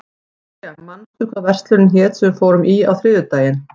Viktoria, manstu hvað verslunin hét sem við fórum í á þriðjudaginn?